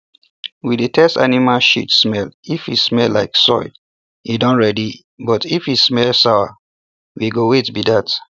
we dey test animal shit smell if e smell like soil e don ready but if e smell sour we go wait be that